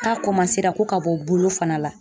k'a ko ka bɔ bolo fana la